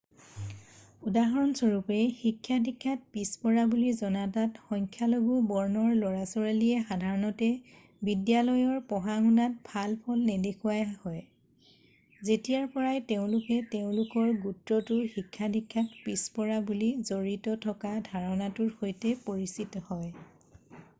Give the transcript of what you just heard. উদাহৰণ স্বৰূপে শিক্ষা-দীক্ষাত পিছপৰা বুলি জনজাত সংখ্যালঘূ বৰ্ণৰ ল'ৰা ছোৱালীয়ে সাধাৰণতে বিদ্যালয়ৰ পঢ়া-শুনাত ভাল ফল নেদেখুওৱা হয় যেতিয়াৰ পৰাই তেওঁলোক তেওঁলোকৰ গোত্ৰটো শিক্ষা-দীক্ষাত পিছপৰা বুলি জড়িত থকা ধাৰণাটোৰ সৈতে পৰিচিত হয়